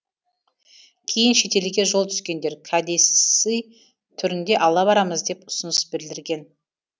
кейін шетелге жол түскендер кәдесый түрінде ала барамыз деп ұсыныс білдірген